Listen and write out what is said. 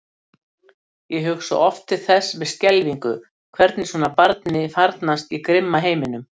Ég hugsa oft til þess með skelfingu hvernig svona barni farnast í grimma heiminum.